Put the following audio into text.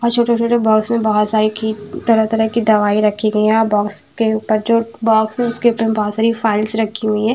और छोटे-छोटे बॉक्स में बहुत सारी की तरह-तरह की दवाई रखी गई हैं और बॉक्स के ऊपर जो है बाक्स है उसके ऊपर बहुत सारी फाइलस रखी हुई हैं।